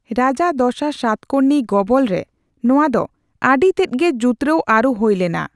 ᱨᱟᱡᱟ ᱫᱚᱥᱟᱨ ᱥᱟᱛᱠᱚᱨᱱᱤ ᱜᱚᱵᱚᱞᱨᱮ ᱱᱚᱣᱟ ᱫᱚ ᱟᱹᱰᱤ ᱛᱮᱫᱜᱮ ᱡᱩᱛᱨᱟᱣ ᱟᱹᱨᱩ ᱦᱩᱭᱞᱮᱱᱟ ᱾